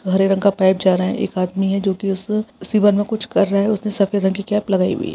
हरे रंग का पाइप जा रहा है एक आदमी है जो कि उस सीवर में कुछ कर रहा है उसने सफेद रंग की कैप लगाई हुई है।